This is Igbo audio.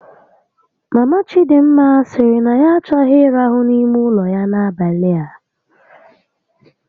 Mama Chidịmma sịrị na ya achọghị ịrahu n'ime ụlọ ya n'abalị a